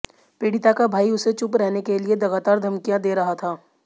पीड़िता का भाई उसे चुप रहने के लिए लगातार धमकियां दे रहा था